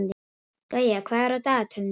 Gauja, hvað er á dagatalinu í dag?